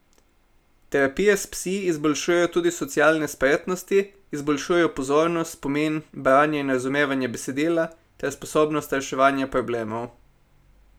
Terapije s psi izboljšujejo tudi socialne spretnosti, izboljšujejo pozornost, spomin, branje in razumevanje besedila ter sposobnost reševanja problemov.